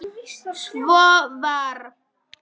Svo var.